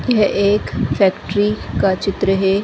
यह एक फैक्ट्री का चित्र है।